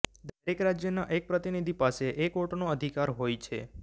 દરેક રાજયના એક પ્રતિનિધિ પાસે એક વોટનો અધિકાર હોય છે